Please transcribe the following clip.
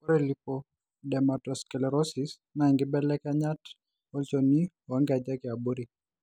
Ore Lipodermatosclerosis naa inkibelekenyat olchoni oonkejek eabori.